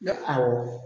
Ne awɔ